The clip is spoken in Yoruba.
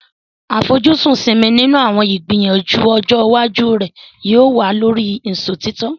Àfojúsùn Simi nínú àwọn ìgbìyànjú ọjọ́ iwájú rẹ̀ yóò wà lórí ìṣòtítọ́.